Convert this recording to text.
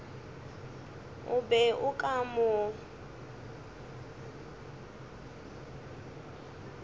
o be o ka mo